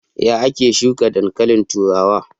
Ya ake shuka dankalin turawa?